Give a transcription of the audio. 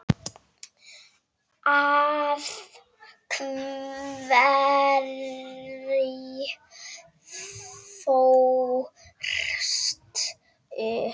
Af hverju fórstu?